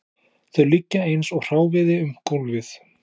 Þau liggja eins og hráviði um gólfið